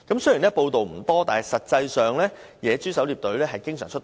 雖然報道不多，但實際上野豬狩獵隊經常出動。